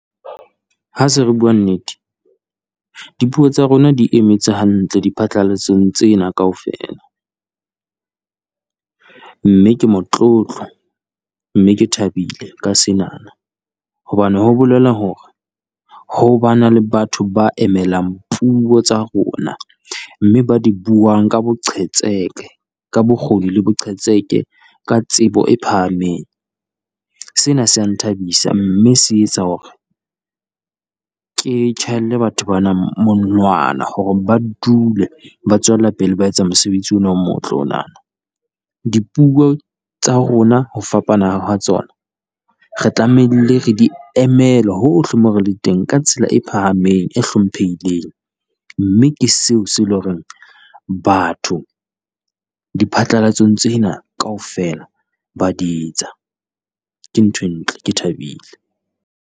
Ha se re bua nnete dipuo tsa rona di emetse hantle diphatlalatsong tsena kaofela, mme ke motlotlo mme ke thabile ka senana, hobane ho bolela hore ho ba na le batho ba emelang puo tsa rona. Mme ba di buang ka boqhetseke ka bokgoni le boqhetseke ka tsebo e phahameng, sena se ya nthabisa mme se etsa hore ke tjhaelle batho bana monwana, hore ba dule ba tswela pele ba etsa mosebetsi ona o motle ona. Dipuo tsa rona ho fapana ha hwa tsona re tlamehile re di emele hohle mo re le teng ka tsela e phahameng, e hlomphehileng, mme ke seo se le ho reng batho diphatlalatsong tsena kaofela, ba di etsa. Ke nthwe ntle ke thabile.